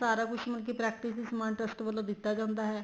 ਸਾਰਾ ਕੁੱਛ ਹੀ ਮਤਲਬ ਕੀ practice ਸਮਾਨ trust ਵੱਲੋਂ ਦਿੱਤਾ ਜਾਂਦਾ ਹੈ